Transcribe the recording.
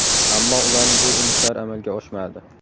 Ammo ularning bu urinishlari amalga oshmadi.